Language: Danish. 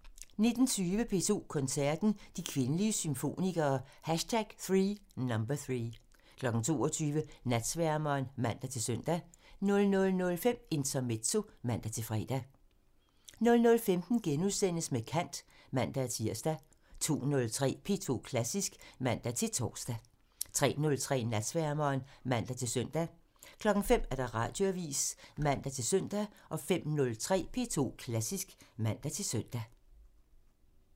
19:20: P2 Koncerten – De kvindelige symfonikere #3 22:00: Natsværmeren (man-søn) 00:05: Intermezzo (man-fre) 00:15: Med kant *(man-tir) 02:03: P2 Klassisk (man-tor) 03:03: Natsværmeren (man-søn) 05:00: Radioavisen (man-søn) 05:03: P2 Klassisk (man-søn)